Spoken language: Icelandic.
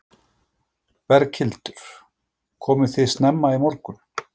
Berghildur: Komuð þið snemma í morgun?